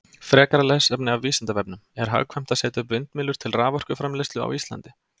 Frekara lesefni af Vísindavefnum: Er hagkvæmt að setja upp vindmyllur til raforkuframleiðslu á Íslandi?